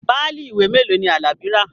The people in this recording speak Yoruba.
Páálí ìwé mélòó ni Alabi rà?